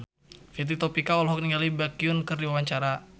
Fitri Tropika olohok ningali Baekhyun keur diwawancara